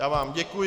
Já vám děkuji.